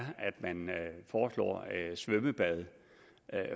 svømmebad